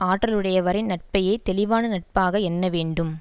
ஆற்றலுடையவரின் நட்பையே தெளிவான நட்பாக எண்ண வேண்டும்